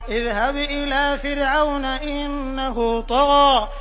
اذْهَبْ إِلَىٰ فِرْعَوْنَ إِنَّهُ طَغَىٰ